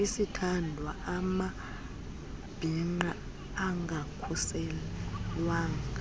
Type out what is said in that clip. isithandwa amabhinqa angakhuselwanga